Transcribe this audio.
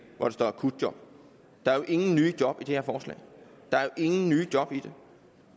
hvor der står akutjob der er jo ingen nye job i det her forslag ingen nye job i det